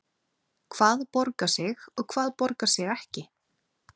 Hvað borgar sig og hvað borgar sig ekki?